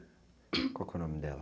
Qual que é o nome dela?